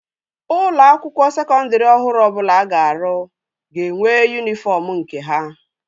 Ụlọ akwụkwọ sekondri ọhụrụ ọbụla a ga-arụ ga-enwe yunifọm nke ha